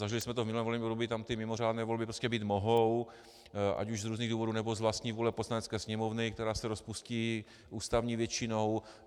Zažili jsme to v minulém volebním období, tam ty mimořádné volby prostě být mohou, ať už z různých důvodů, nebo z vlastní vůle Poslanecké sněmovny, která se rozpustí ústavní většinou.